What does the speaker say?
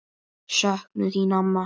Söknum þín, amma.